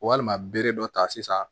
Walima bere dɔ ta sisan